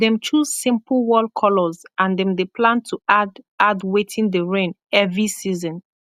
dem choose simpol wall kolors and dem dey plan to add add wetin dey reign evy season